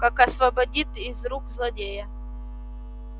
как освободит из рук злодея